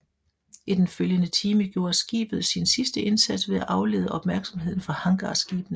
I den følgende time gjorde skibet sin sidste indsats ved at aflede opmærksomheden fra hangarskibene